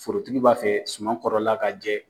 Forotigi b'a fɛ sumankɔrɔla ka jɛ.